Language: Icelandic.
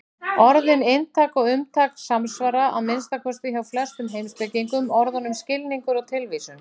Orðin inntak og umtak samsvara, að minnsta kosti hjá flestum heimspekingum, orðunum skilningur og tilvísun.